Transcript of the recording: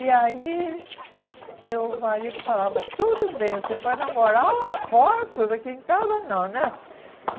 E aí, meu marido falava, tudo bem, você pode namorar lá fora, tudo aqui em casa, não, né?